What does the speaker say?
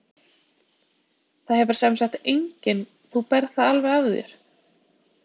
Það hefur semsagt enginn, þú berð það alveg af þér?